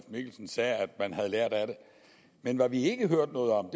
mikkelsen sige at man havde lært af det men hvad vi ikke hørte noget om